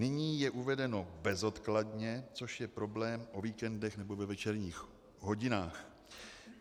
Nyní je uvedeno bezodkladně, což je problém o víkendech nebo ve večerních hodinách.